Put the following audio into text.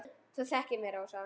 Þú þekkir mig, Rósa.